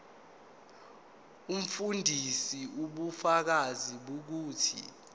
umfundisi ubufakazi bokuthi